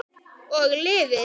Og lifir.